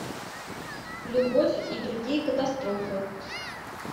любовь и другие катастрофы